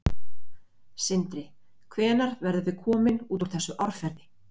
Sindri: Hvenær verðum við komin út úr þessu árferði?